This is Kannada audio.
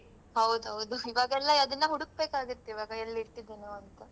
ಹೌದೌದು, ಈವಾಗೆಲ್ಲ ಅದನ್ನ ಹುಡುಕ್ಬೇಕಾಗುತ್ತೆ ಈವಾಗ ಎಲ್ಲಿಟ್ಟಿದೆನೊಂತ.